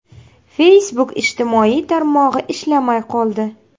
Facebook ijtimoiy tarmog‘i ishlamay qoldi.